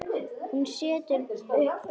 Hún setur upp bros.